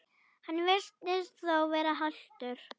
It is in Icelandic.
Hann virtist þó vera haltur.